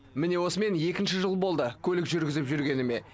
міне осымен екінші жыл болды көлік жүргізіп жүргеніме